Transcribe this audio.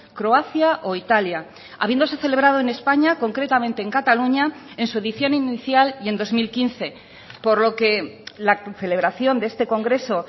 croacia o italia habiéndose celebrado en españa concretamente en cataluña en su edición inicial y en dos mil quince por lo que la concelebración de este congreso